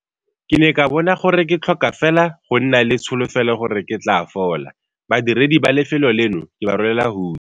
Ke ne ka bona gore ke tlhoka fela go nna le tsholofelo gore ke tla fola. Badiredi ba lefelo leno ke ba rolela hutshe!